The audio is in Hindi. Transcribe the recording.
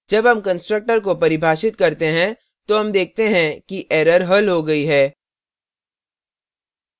जब हम constructor को परिभाषित करते हैं तो हम देखते हैं कि error हल हो गयी है